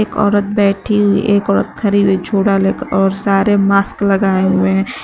एक औरत बैठी हुई एक औरत खड़ी हुई है झोला लेकर और सारे मास्क लगाए हुए हैं।